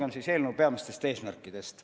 Alustagem eelnõu peamistest eesmärkidest.